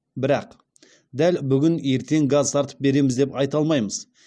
бірақ дәл бүгін ертең газ тартып береміз деп айта алмаймыз